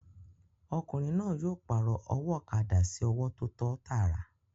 Ọkùnrin náà yóò pàrọ̀ ọwọ́ ọ̀kadà sí ọwọ́ tó tọ́ tàrà